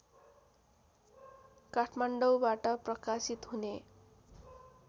काठमाडौँबाट प्रकाशित हुने